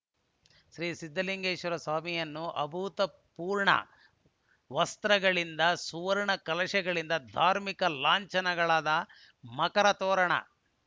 ಶ್ರೀ ಸಿದ್ದಲಿಂಗೇಶ್ವರ ಸ್ವಾಮಿಯನ್ನು ಅಭೂತಪೂರ್ಣ ವಸ್ತ್ರಗಳಿಂದ ಸುವರ್ಣ ಕಲಶಗಳಿಂದ ಧಾರ್ಮಿಕ ಲಾಂಛನಗಳಾದ ಮಕರ ತೋರಣ